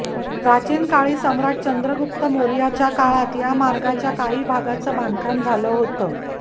प्राचीन काळी सम्राट चंद्रगुप्त मौर्याच्या काळात या मार्गाच्या काही भागाचं बांधकाम झालं होतं